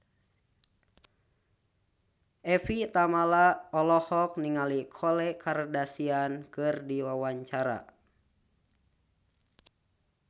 Evie Tamala olohok ningali Khloe Kardashian keur diwawancara